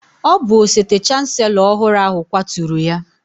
Ọ bụ osote chancelo ọhụrụ ahụ kwaturu ya.